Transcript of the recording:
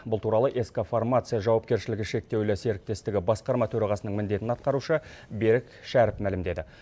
бұл туралы ск фармация жауапкершілігі шектеулі серіктестігі басқарма төрағасының міндетін атқарушы берік шәріп мәлімдеді